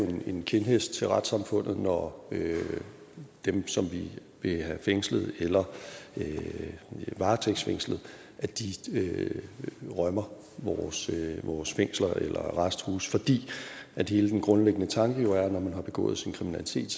er en kindhest til retssamfundet når dem som vi vil have fængslet eller varetægtsfængslet rømmer vores fængsler eller vores arresthuse fordi hele den grundlæggende tanke jo er at når man har begået sin kriminalitet